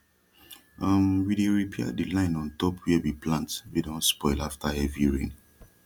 um we dey repair de line ontop wia we plant wey don spoil afta heavy rain